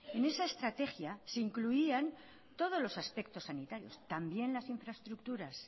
en esa estrategia se incluían todos los aspectos sanitarios también las infraestructuras